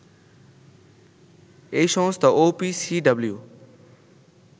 এই সংস্থা ওপিসিডাব্লিউ